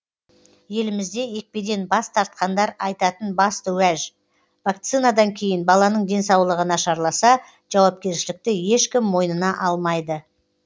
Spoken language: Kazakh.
елімізде екпеден бас тартқандар айтатын басты уәж вакцинадан кейін баланың денсаулығы нашарласа жауапкершілікті ешкім мойнына алмайды